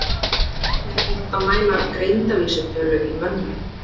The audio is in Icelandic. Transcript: Hvernig er hægt að mæla greindarvísitölu í mönnum?